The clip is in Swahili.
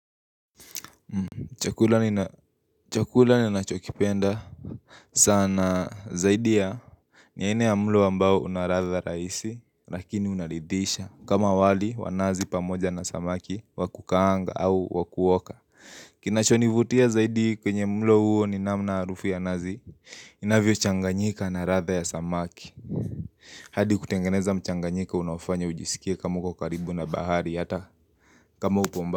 Chakula ninachokipenda sana zaidi ya, ni aina ya mlo ambao unaladha rahisi lakini unaridhisha kama wali wa nazi pamoja na samaki wakukaanga au wakuoka Kinachonivutia zaidi kwenye mlo huo ni namna harufu ya nazi inavyo changanyika na ladha ya samaki hadi kutengeneza mchanganyiko, unaofanya ujisikie kama uko karibu na bahari hata kama upo mba.